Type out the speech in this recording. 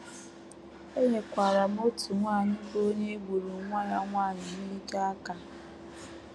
Enyekwaara m otu nwanyị bụ́ onye e gburu nwa ya nwanyị n’ike, aka.